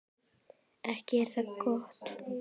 Ekki er það gott.